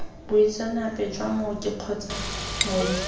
boitseanape jwa mooki kgotsa mooki